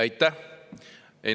Aitäh!